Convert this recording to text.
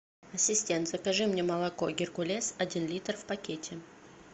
ассистент закажи мне молоко геркулес один литр в пакете